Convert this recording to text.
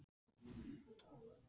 Höskuldur: Hvernig lýsir hún sér?